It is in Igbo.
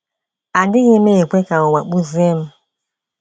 Adịghị m ekwe ka ụwa kpụzie m.